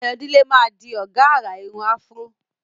Ayomide máa di ọ̀gá àrà irun afro.